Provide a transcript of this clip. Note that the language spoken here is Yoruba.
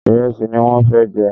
Ìrẹsì ní wọ́n fẹ jẹ